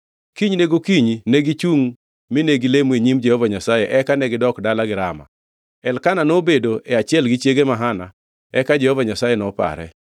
Kinyne gokinyi negichungʼ mine gilemo e nyim Jehova Nyasaye eka negidok dalagi Rama. Elkana nobedo e achiel gi chiege ma Hana eka Jehova Nyasaye nopare.